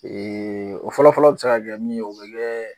o fɔlɔ fɔlɔ bi se ka kɛ min ye o bi kɛ